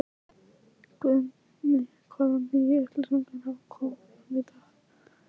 Guðný: Hvaða nýju upplýsingar hafa komið fram í dag?